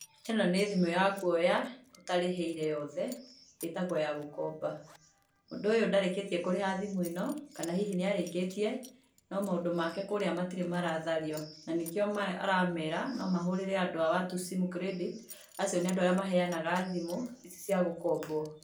ĩno nĩ thimũ ya kuoya, ũtarĩhĩire yothe, ĩtagwo ya gũkomba. Mũndũ ũyũ ndarĩkĩtie kũrĩha thimũ ĩno kana hihi nĩ arĩkĩtie, no maũndũ make kũrĩa matirĩ marathario. Na nĩkĩo aramera no mahũrĩre andũ a watu simu credit acio nĩ andũ arĩa maheyanaga thimũ ici cia gũkombwo.